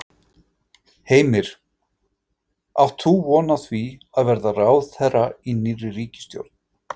Heimir: Átt þú von á því að verða ráðherra í nýrri ríkisstjórn?